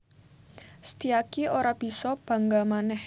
Setyaki ora bisa bangga manèh